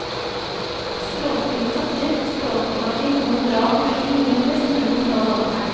Stråstive sorter, stråforkorting og moderat gjødsling gir en best mulig kontroll av åkeren.